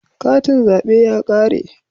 Katin zabe ya kare